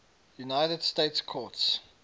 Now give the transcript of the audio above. united states courts